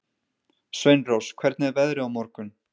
Sveinrós, hvernig er veðrið á morgun?